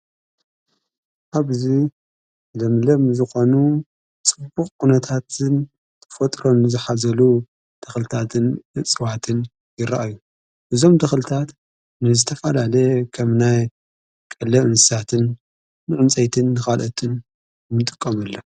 አብዙ ዘምለም ዝቛኑ ጽቡቕ ቕነታትን ፈጥሮን ዝኃዘሉ ተኽልታትን ጽዋትን ይረአዩ እዞም ተኽልታት ንዝተፋላለ ኸምናይ ቀለ እንሳትን ምዕምፀይትን ክቓልአትን ምንጥቀመሎም ::